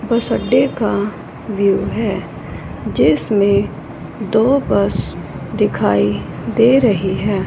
बस अड्डे का व्यूह हैं जिसमें दो बस दिखाई दे रही हैं।